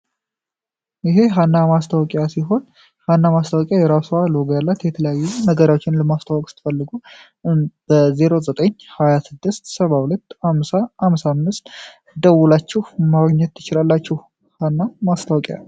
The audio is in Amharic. ይህ ሃና ማስታወቂያ ሲሆን ሃና ማስታወቂያ የራስዋ ሎጎ ያላት የተለያዩ ነገሪዎችን ለማስታወቅ ስትፈልጉ በ09 26 72 50 55 ደውላችሁ ማግኘት ትችላላችሁ ሃና ማስታወቂያ።